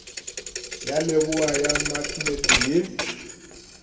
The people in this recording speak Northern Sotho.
ya leboa ya maknete ye